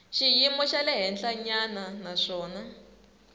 xiyimo xa le henhlanyana naswona